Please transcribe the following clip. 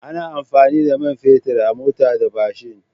Ana amfani da man fetur a mota da mashin.